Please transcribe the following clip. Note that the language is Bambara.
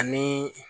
Ani